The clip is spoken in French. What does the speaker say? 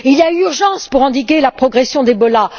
Il y a urgence à endiguer la progression d'Ebola.